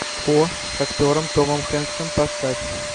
хо с актером томом хэнксом поставь